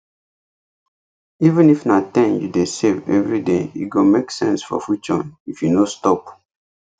even if na ten you dey save everyday e go make sense for future if you no stop